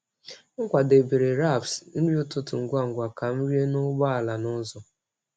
M kwadebere wraps nri ụtụtụ ngwa ngwa ka m rie n’ụgbọ ala n’ụzọ.